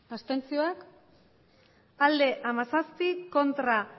botoak hirurogeita hamairu bai hamazazpi ez